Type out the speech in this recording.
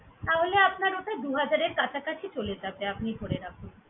তাহলে আপনার ওটা দুহাজারের কাছকাছি চলে যাবে আপনি ধরে রাখুন।